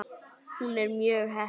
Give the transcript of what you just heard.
Hún er mjög heppin.